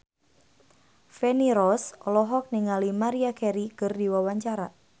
Feni Rose olohok ningali Maria Carey keur diwawancara